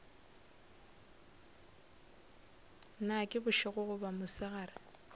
na ke bošego goba mosegare